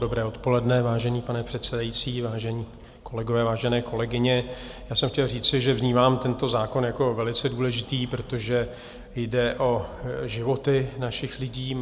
Dobré odpoledne, vážený pane předsedající, vážení kolegové, vážené kolegyně, já jsem chtěl říci, že vnímám tento zákon jako velice důležitý, protože jde o životy našich lidí.